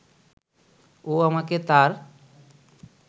ও আমাকে তার